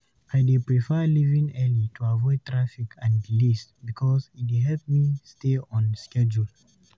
I dey prefer leaving early to avoid traffic and delays because e dey help me stay on schedule.